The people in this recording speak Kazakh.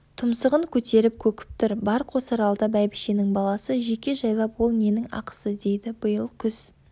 тұмсығын көтеріп көкіп тұр бар қосаралды бәйбішенің баласы жеке жайлап ол ненің ақысы дейді биыл күз